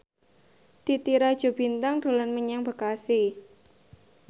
Titi Rajo Bintang dolan menyang Bekasi